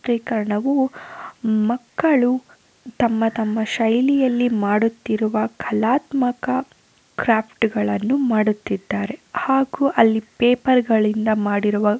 ಚಿತ್ರೀಕರಣವು ಮಕ್ಕಳು ತಮ್ಮ ತಮ್ಮ ಶೈಲಿಯಲ್ಲಿ ಮಾಡುತ್ತಿರುವ ಕಲಾತ್ಮಕ ಕ್ರಾಫ್ಟ್ ಗಳನ್ನು ಮಾಡುತ್ತಿದ್ದಾರೆ ಹಾಗು ಅಲ್ಲಿ ಪೇಪರ್ ಗಳಿಂದ ಮಾಡಿರುವ--